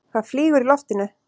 Það flýgur í loftinu.